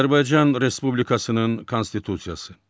Azərbaycan Respublikasının Konstitusiyası.